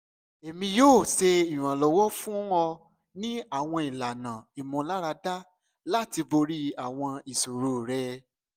emi yoo ṣe iranlọwọ fun ọ ni awọn ilana imularada lati bori awọn iṣoro rẹ